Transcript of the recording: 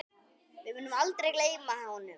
Við munum aldrei gleyma honum.